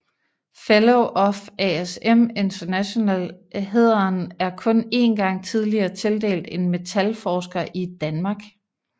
Fellow of ASM International hæderen er kun én gang tidligere tildelt en metalforsker i Danmark